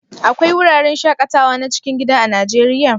Akwai wuraren shaƙatawa na cikin gida a Najeriya?